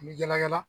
N bɛ yala yala